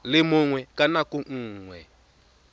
le mongwe ka nako nngwe